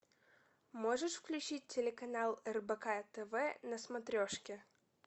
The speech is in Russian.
можешь включить телеканал рбк тв на смотрешке